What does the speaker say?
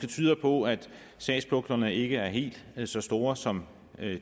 tyder på at sagspuklerne måske ikke er helt så store som